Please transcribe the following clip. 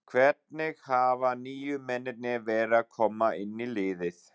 Hvernig hafa nýju mennirnir verið að koma inn í liðið?